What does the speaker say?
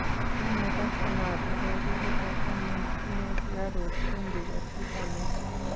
Kiome Cashew nut nekokibute amun tinye sukaruk, chumbik ak pitamen.